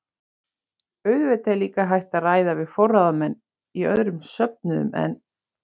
Auðvitað er líka hægt að ræða við forráðamenn í öðrum söfnuðum en